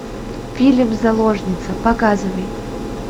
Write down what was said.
фильм заложница показывай